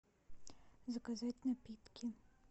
заказать напитки